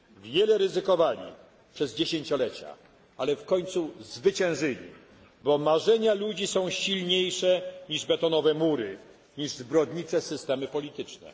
Wiele ryzykowali przez dziesięciolecia, ale w końcu zwyciężyli, bo marzenia ludzi są silniejsze niż betonowe mury, niż zbrodnicze systemy polityczne.